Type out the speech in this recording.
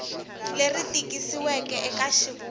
leri tikisiweke eka xivulwa lexi